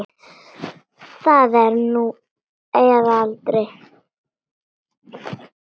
Það er nú eða aldrei.